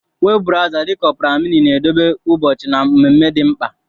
Webụ brawza dị ka Ọpra mịnị na-edobe ụbọchị na mmemme dị mkpa.